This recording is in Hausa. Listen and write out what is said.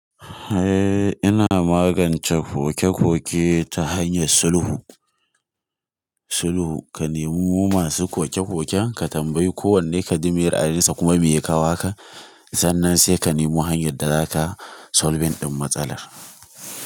Eh ina magance koke-koke ta hanyar sulhu, sulhu ka nemo masu koke-koken ka tambayi kowanne ka ji miye raayinsa kuma miye kawo haka sannan sai ka nemo hanyar da zaka solve din matsalar.